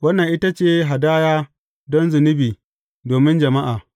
Wannan ita ce hadaya don zunubi domin jama’a.